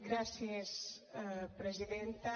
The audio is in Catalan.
gràcies presidenta